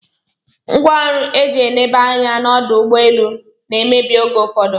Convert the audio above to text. Ngwaọru eji eneba anya na ọdọugbeelu na emebi oge ụfụdu